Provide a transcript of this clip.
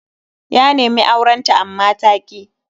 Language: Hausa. Ya nemi auren ta amma ta ki.